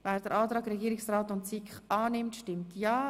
Wer den Antrag Regierungsrat und SiK annimmt, stimmt ja,